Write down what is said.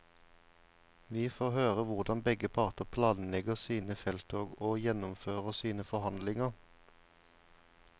Vi får høre hvordan begge parter planlegger sine felttog og gjennomfører sine forhandlinger.